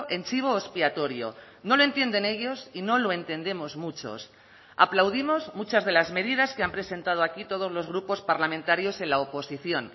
en chivo expiatorio no lo entienden ellos y no lo entendemos muchos aplaudimos muchas de las medidas que han presentado aquí todos los grupos parlamentarios en la oposición